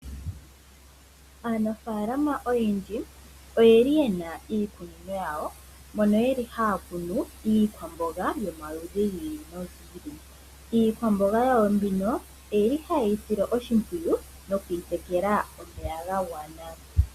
Aanafaalama oyendji oyeli yena iikunino yawo moka yeli haya kunu iikwamboga yomaludhi gi ili nogi ili, iikwamboga yawo mbino oyili haye yi sile oshimpwiyu no kuyitekela omeya gagwana.